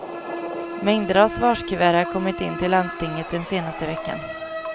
Mängder av svarskuvert har kommit in till landstinget den senaste veckan.